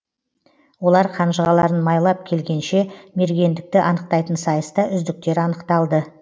олар қанжығаларын майлап келгенше мергендікті анықтайтын сайыста үздіктер анықталды